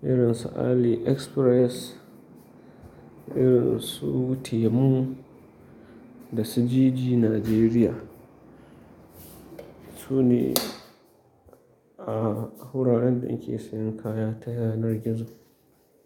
irin su AliExpress, irin su Temu da su Jiji Najeriya. Sune a wuraren da ni ke sayan kaya ta yanar gizo.